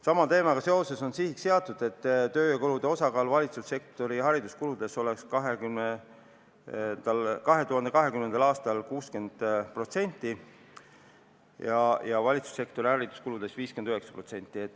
Sama teemaga seoses on sihiks seatud, et tööjõukulude osakaal valitsussektori hariduskuludes oleks 2020. aastal 60% ja valitsussektori hariduskuludes 59%.